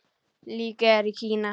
Leikið er í Kína.